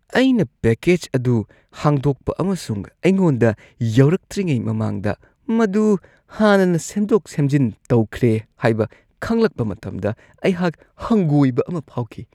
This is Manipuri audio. ꯑꯩꯅ ꯄꯦꯀꯦꯖ ꯑꯗꯨ ꯍꯥꯡꯗꯣꯛꯄ ꯑꯃꯁꯨꯡ ꯑꯩꯉꯣꯟꯗ ꯌꯧꯔꯛꯇ꯭ꯔꯤꯉꯩ ꯃꯃꯥꯡꯗ ꯃꯗꯨ ꯍꯥꯟꯅꯅ ꯁꯦꯝꯗꯣꯛ-ꯁꯦꯝꯖꯤꯟ ꯇꯧꯈ꯭ꯔꯦ ꯍꯥꯏꯕ ꯈꯪꯂꯛꯄ ꯃꯇꯝꯗ ꯑꯩꯍꯥꯛ ꯍꯪꯒꯣꯏꯕ ꯑꯃ ꯐꯥꯎꯈꯤ꯫